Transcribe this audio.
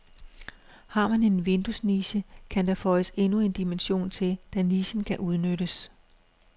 Har man en vinduesniche, kan der føjes endnu en dimension til, da nichen kan udnyttes.